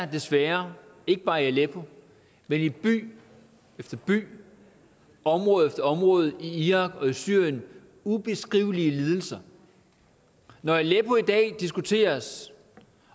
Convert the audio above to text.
desværre ikke bare i aleppo men i by efter by område efter område i irak og i syrien ubeskrivelige lidelser når aleppo i dag diskuteres